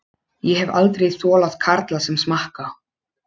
Ég hef aldrei þolað karla sem smakka.